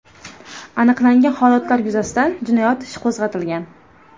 Aniqlangan holatlar yuzasidan jinoyat ishi qo‘zg‘atilgan.